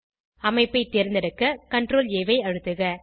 அமைப்பை தேர்ந்தெடுக்க CTRLA ஐ அழுத்துக